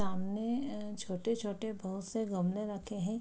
सामने छोटे-छोटे बहुत से गमले रखे हैं।